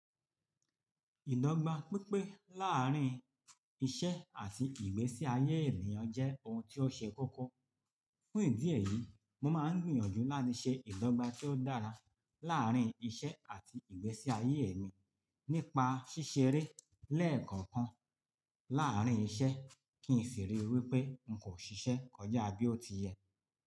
Ìdọ́gba pípé láàárín iṣẹ́ àti ìgbésí ayé ènìyàn jẹ́ ohun tí ó ṣe kókó. Fún ìdí èyí, mo máa ń gbìyànjú láti ṣe ìdọ́gba tí ó dára láàárín iṣẹ́ àti ìgbésí ayé èmi nípa ṣíṣeré lẹ́ẹ̀kọ̀kan láàárín iṣẹ́ kí n fì ríi wípé n kò ṣiṣẹ́ kọjá bí ó ti yẹ.